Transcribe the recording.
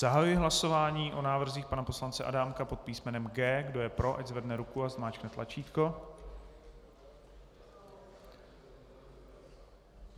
Zahajuji hlasování o návrzích pana poslance Adámka pod písmenem G. Kdo je pro, ať zvedne ruku a zmáčkne tlačítko.